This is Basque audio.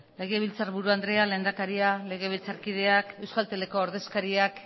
legebiltzarburu andrea lehendakaria legebiltzarkideak euskalteleko ordezkariak